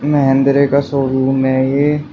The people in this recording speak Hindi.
महेंद्रे का शोरूम है ये--